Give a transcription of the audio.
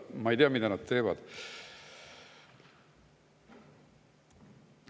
Ma ei tea, mida nad teevad.